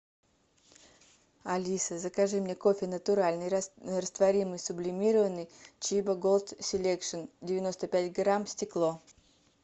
алиса закажи мне кофе натуральный растворимый сублимированный чибо голд селекшн девяносто пять грамм стекло